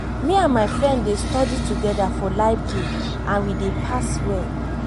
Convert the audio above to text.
me and my friend dey study together for library and we dey pass well